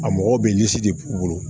A mɔgɔw bɛ ɲɛsin de k'u bolo